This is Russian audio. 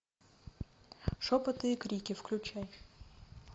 шепоты и крики включай